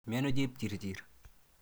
Miano Chepchirchir?